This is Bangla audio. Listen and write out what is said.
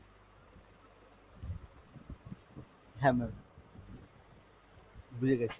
হ্যাঁ ma'am। বুঝে গেছি।